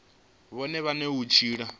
vhone vhane na u tshila